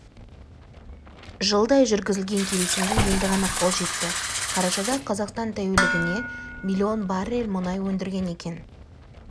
жылдай жүргізілген келісімге енді ғана қол жетті қарашада қазақстан тәулігіне миллион баррель мұнай өндірген екен